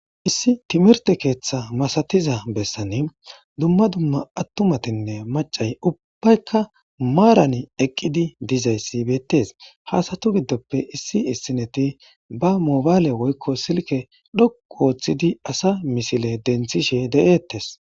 Issi timirte keeththa masatiza bessan dumma dumma attumatinne macay ubbaykka maaran eqqidi dizayssi beettes haasatu giddoppe issi issineti ba moobaale woykko silke dhoqu wooththidi asa misile denthishe de7eettes.